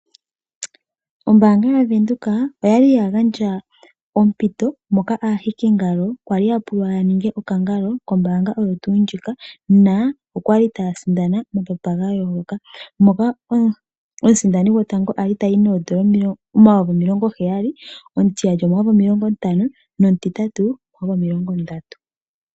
Ombaanga yaVenduka oyali yagandja ompito moka aahikingalo kwali yapulwa yaninge okakangalo kombaanga oyo tuu ndjika . Okwali taya sindana omapapa gayooloka, moka omusindani gwotango ali tayi N$70000, omutiyali N$50000 nomutitatu N$30000.